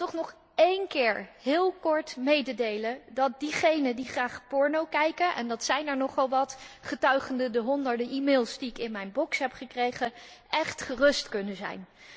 Ik wil toch nog één keer heel kort mededelen dat diegenen die graag porno kijken en dat zijn er nogal wat, getuige de honderden e mails die ik in mijn mailbox heb gekregen echt gerust kunnen zijn.